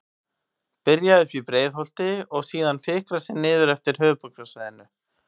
Byrja uppi í Breiðholti og síðan fikra sig niður eftir höfuðborgarsvæðinu.